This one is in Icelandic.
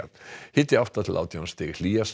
hiti átta til átján stig hlýjast